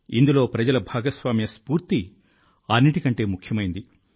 ఇందులో ప్రజల భాగస్వామ్య స్ఫూర్తి అన్నింటికంటే ముఖ్యమైంది